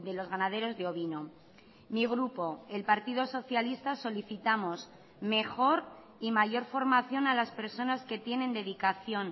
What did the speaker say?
los ganaderos de ovino mi grupo el partido socialista solicitamos mejor y mayor formación a las personas que tienen dedicación